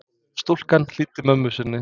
Stúlkan hlýddi mömmu sinni.